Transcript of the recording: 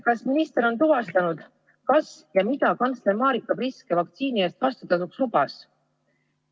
Kas minister on tuvastanud, kas ja mida kantsler Marika Priske vaktsiini eest vastutasuks lubas?